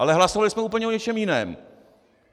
Ale hlasovali jsme úplně o něčem jiném.